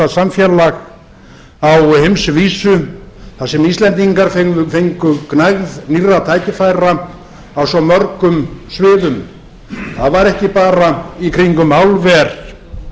samfélag á heimsvísu þar sem íslendingar fengu gnægð nýrra tækifæra á svo mörgum sviðum það var ekki bara í kringum álver